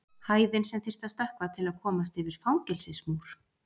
hæðin sem þyrfti að stökkva til að komast yfir fangelsismúr